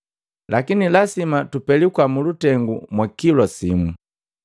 Lakini lasima tupelikwa mulutengu mwa kilwa simu.”